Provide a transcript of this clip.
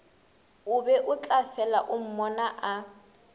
o beo tlafela o mmonaa